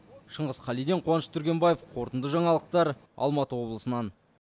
шыңғыс қалиден қуаныш түргенбаев қорытынды жаңалықтар алматы облысынан